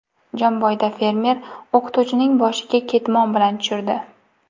Jomboyda fermer o‘qituvchining boshiga ketmon bilan tushirdi.